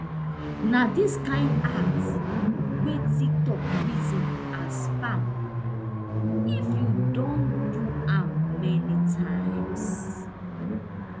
na dis kind act wey tiktok reason as spam if you don do am many times